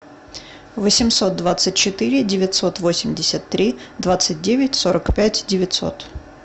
восемьсот двадцать четыре девятьсот восемьдесят три двадцать девять сорок пять девятьсот